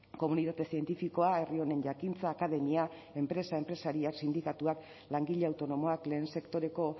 komunitate zientifikoa herri honen jakintza akademia enpresa enpresariak sindikatuak langile autonomoak lehen sektoreko